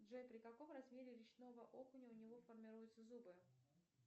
джой при каком размере речного окуня у него формируются зубы